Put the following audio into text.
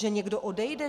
Že někdo odejde?